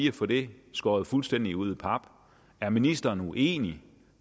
at få det skåret fuldstændig ud i pap er ministeren uenig